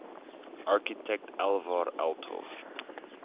architect alvar aalto